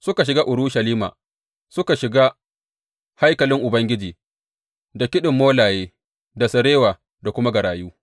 Suka shiga Urushalima suka shiga haikalin Ubangiji da kiɗin molaye da sarewa da kuma garayu.